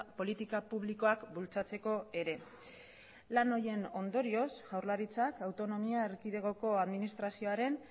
politika publikoak bultzatzeko ere lan horien ondorioz jaurlaritzak autonomia erkidegoko administrazioaren